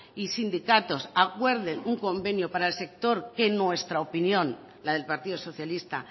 y sindicatos acuerden un convenio para el sector que en nuestra opinión la del partido socialista